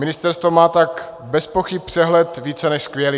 Ministerstvo má tak bezpochyby přehled více než skvělý.